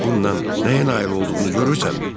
İndi bununla nəyə nail olduğunu görürsənmi?